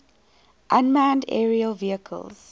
unmanned aerial vehicles